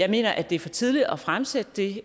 mener at det er for tidligt at fremsætte det